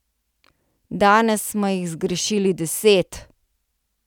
Danes smo jih zgrešili deset.